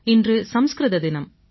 இன்று சமஸ்கிருத தினம்